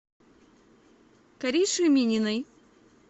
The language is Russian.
кариши мининой